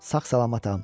Sağ-salamatam.